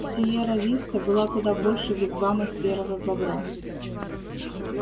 сиерра виста была куда больше вигвама серого бобра